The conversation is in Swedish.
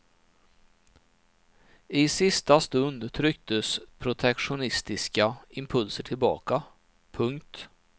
I sista stund trycktes protektionistiska impulser tillbaka. punkt